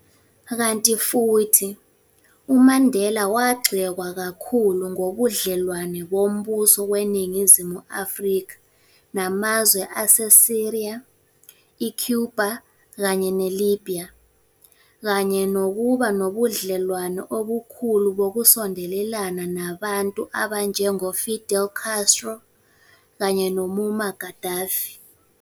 Kanti futhi uMandela wagxekwa kakhulu ngobudlelwane bombuso weNingizimu Afrika namazwe ase-Syria, i-Cuba kanye ne-Libya, kanye nokuba nobudlelwane obukhulu bokusondelana nabantu abanjengo-Fidel Castro kanye no-Muammar Gaddafi.